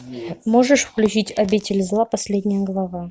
можешь включить обитель зла последняя глава